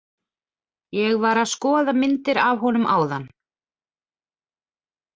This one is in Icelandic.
Ég var að skoða myndir af honum áðan.